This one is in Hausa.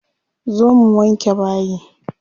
Zo mu wanke bayi.